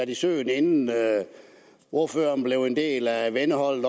i søen inden ordføreren blev en del af venneholdet